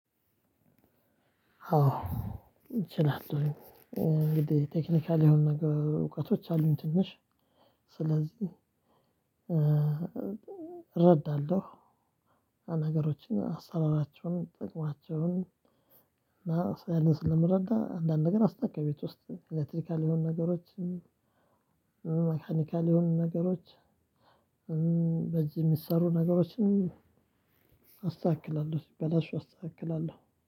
አዎ እችላለሁኝ። እንግዲህ ቴክኒካል የሆኑ ነገር እውቀቶች አሉኝ ትንሽ ስለዚህ እረዳለሁ ነገሮችን፣ አሰራራቸውን፣ ጥቅማቸውን እና እኔ ስለምረዳ አንዳንድ ነገር አስተካክላለው ቤት ውስጥ ኤሌክትሪካል የሆኑ ነገሮችን መካኒካል የሆኑ ነገሮች በዚህ የሚሰሩ ነገሮችን አስተካክላለሁ ሲበላሹ አስተካክላለሁ።